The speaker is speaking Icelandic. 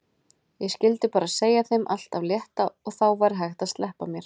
Ég skyldi bara segja þeim allt af létta og þá væri hægt að sleppa mér.